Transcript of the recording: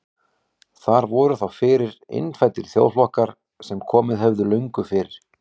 Þar voru þá fyrir innfæddir þjóðflokkar sem komið höfðu löngu fyrr.